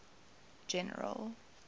general